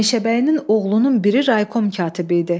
Meşəbəyinin oğlunun biri Raykom katibi idi.